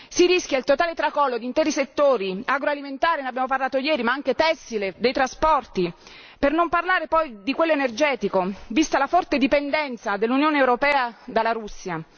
Si rischia il totale tracollo di interi settori agroalimentare, ne abbiamo parlato ieri, ma anche tessile, dei trasporti, per non parlare poi di quello energetico, vista la forte dipendenza dell'Unione europea dalla Russia.